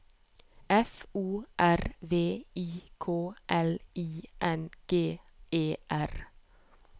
F O R V I K L I N G E R